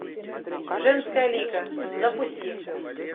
женская лига запусти